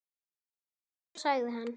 Eða svo sagði hann.